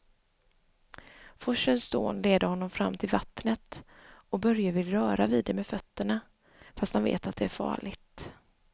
Forsens dån leder honom fram till vattnet och Börje vill röra vid det med fötterna, fast han vet att det är farligt.